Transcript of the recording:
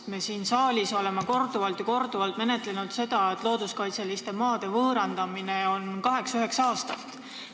Me oleme siin saalis korduvalt ja korduvalt rääkinud sellest, et looduskaitseliste maade võõrandamine kestab kaheksa-üheksa aastat.